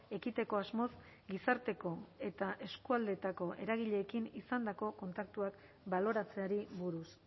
ekiteko asmoz gizarteko eta erakundeetako eragileekin izandako kontaktuak baloratzeari buruz